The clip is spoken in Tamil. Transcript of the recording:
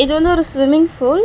இது வந்து ஒரு ஸ்விம்மிங் ஃபூல் .